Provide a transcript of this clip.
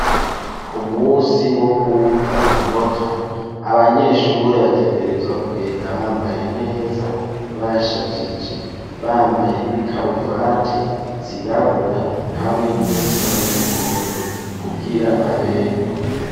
Ku musi wo kumva amanota abanyeshure bategerezwa kugenda bambaye neza bashajije bambaye n'ikaruvati zirabura hamwe nizisa n'umuhondo kugira baberwe.